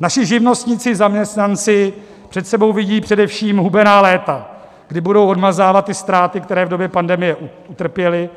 Naši živnostníci, zaměstnanci před sebou vidí především hubená léta, kdy budou odmazávat ty ztráty, které v době pandemie utrpěli,